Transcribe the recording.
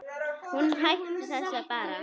Og hún hætti þessu bara.